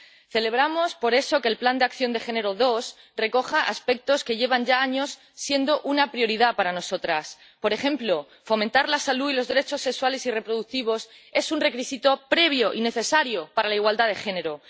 Celebramos, por eso, que el Plan de Acción en materia de género II recoja aspectos que llevan ya años siendo una prioridad para nosotras. Por ejemplo, fomentar la salud y los derechos sexuales y reproductivos es un requisito previo y necesario para la igualdad de género.